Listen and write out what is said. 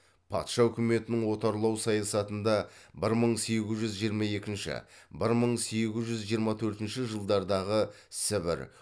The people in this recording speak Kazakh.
патша үкіметінің отарлау саясатында бір мың сегіз жүз жиырма екінші бір мың сегіз жүз жиырма төртінші жылдардағы сібір